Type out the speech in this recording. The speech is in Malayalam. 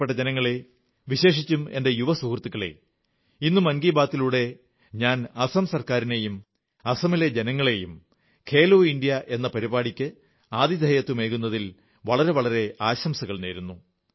പ്രിയപ്പെട്ട ജനങ്ങളേ വിശേഷിച്ചും എന്റെ യുവ സുഹൃത്തുക്കളേ ഇന്ന് മൻ കീ ബാത്ത് ലൂടെ ഞാൻ അസം സർക്കാരിനും അസമിലെ ജനങ്ങൾക്കും ഖേലോ ഇന്ത്യാ എന്ന പരിപാടിക്ക് ആതിഥേയത്വമരുളിയതിന് വളരെ വളരെ ആശംസകൾ നേരുന്നു